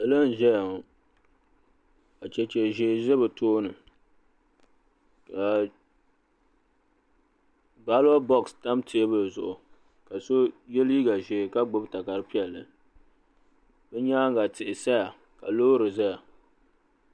Salo n ʒɛya ŋɔ ka chɛchɛ ʒɛɛ za be tooni baloti bɔɣsi tam tɛɛbuli zuɣu ka so yɛ liiga ʒɛɛ ka gbibi takari pɛlli be nyaaŋa tihi saya ka loori zaya